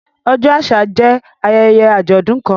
Ọjọ àṣà jẹ ayẹyẹ ajọdun kàn.